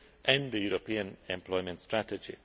and the European Employment strategy.